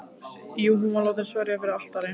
Jú, hún var látin sverja fyrir altari.